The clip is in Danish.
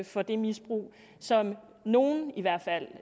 for det misbrug som nogle i hvert fald